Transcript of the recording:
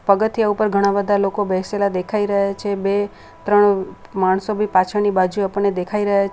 પગથિયા ઉપર ઘણા બધા લોકો બેસેલા દેખાઈ રહ્યા છે બે ત્રણ માણસો પણ પાછળની બાજુ આપણને દેખાઈ રહ્યા છે.